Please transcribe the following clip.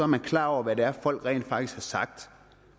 man klar over hvad det er folk rent faktisk har sagt